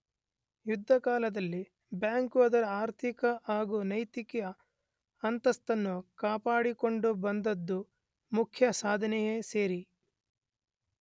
ಯುದ್ಧಕಾಲದಲ್ಲಿ bank ಅದರ ಆರ್ಥಿಕ ಹಾಗೂ ನೈತಿಕ ಅಂತಸ್ತನ್ನು ಕಾಪಾಡಿ ಕೊಂಡು ಬಂದುದು ಮುಖ್ಯ ಸಾಧನೆಯೇ ಸರಿ.